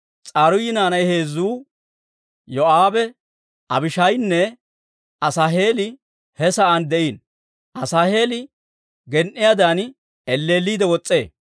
S'aruuyi naanay heezzu Yoo'aabe, Abishaayinne Asaaheeli he sa'aan de'iino; Asaaheeli gen"iyaadan elleelliidde wos's'ee.